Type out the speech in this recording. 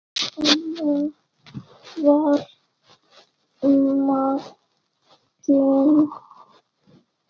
Mamma var nagli.